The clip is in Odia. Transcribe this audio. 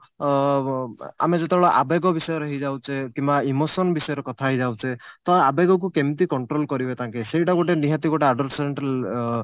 ଅ ଆମେ ଯେତେବେଳେ ଆବେଗ ବିଷୟରେ ହେଇଯାଉଛେ କିମ୍ବା emotion ବିଷୟରେ କଥା ହେଇଯାଉଛେ ତ ଆବେଗକୁ କେମିତି control କରିବେ ତାଙ୍କେ ସେଇଟା ଗୋଟେ ନିହାତି ଗୋଟେ adolescence ଅ